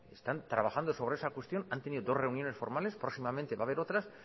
están trabajando sobre esa cuestión han tenido dos reuniones formales próximamente va haber otras